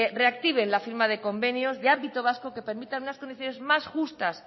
reactiven la firma de convenios de ámbito vasco que permitan unas condiciones más justas